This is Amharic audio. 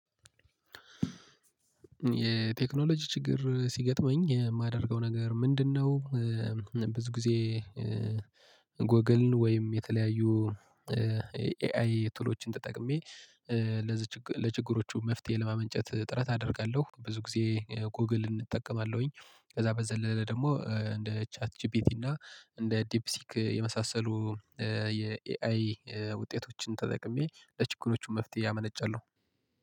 የቴክኖሎጂ ችግር ሲገጥመኝ የማደርገው ነገር ምንድነው? ብዙ ጊዜ ጎግልን ወይም የተለያዩ ኤአይ ቱሎችን ተጠቅሜ ለችግሮቹ መፍትሄ ለማመንጨት ጥረት አደርጋለሁ። ብዙ ጊዜ ጎግል እጠቀማለሁኝ ከዛ በዘለለ ደግሞ እንደ ቻት ጂፒቲ እና እንደ ዲፕሲክ የመሳሰሉ የኤአይ ውጤቶችን ተጠቅሜ ለችግሮቹ መፍትሄ አመነጫለሁ